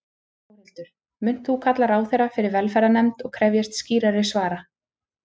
Þórhildur: Munt þú kalla ráðherra fyrir velferðarnefnd og krefjast skýrari svara?